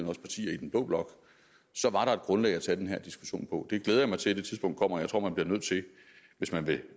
også partier i den blå blok så var der et grundlag at tage den her diskussion på jeg glæder mig til at det tidspunkt kommer og man bliver nødt til hvis man vil